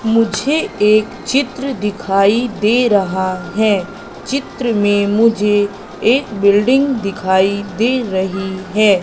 मुझे एक चित्र दिखाई दे रहा है चित्र में मुझे एक बिल्डिंग दिखाई दे रही है।